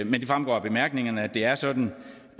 fremgår af bemærkningerne at det er sådan